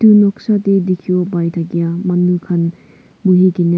etu noksa se dikhibo pai thakia manu khan buhi kene--